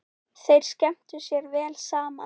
Þeir skemmtu sér vel saman.